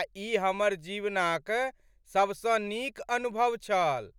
आ ई हमर जीवनक सबसँ नीक अनुभव छल।